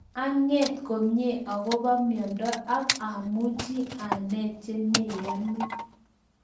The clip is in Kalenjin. Anget komye akobo myondo ak amuchi anet che meyani